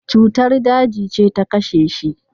Cutar daji ce ta kashe shi.